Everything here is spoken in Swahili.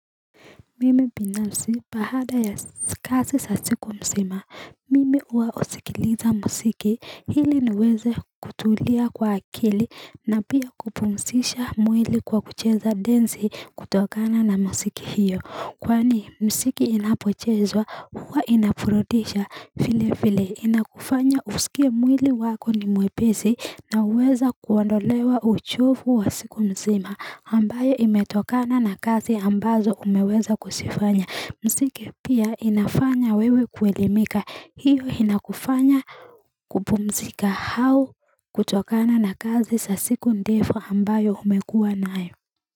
Mimi binafsi bahada ya kasi sa siku msima, mimi uwa usikiliza msiki hili niweze kutulia kwa akili na pia kupumsisha mwili kwa kucheza densi kutokana na msiki hiyo. Kwani msiki inapochezwa huwa inaburudisha filefile inakufanya usikie mwili wako ni mwepesi na uweza kuwandolewa uchofu wa siku mzima ambayo imetokana na kazi ambazo umeweza kusifanya msiki pia inafanya wewe kuelimika hiyo inakufanya kupumzika hao kutokana na kazi sa siku ndefu ambayo umekua nayo.